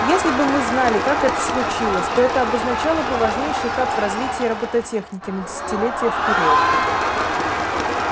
если бы мы знали как это случилось то это обозначало бы важнейший этап в развитии роботехники на десятилетия вперёд